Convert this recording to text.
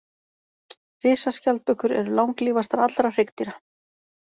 Risaskjaldbökur eru langlífastar allra hryggdýra.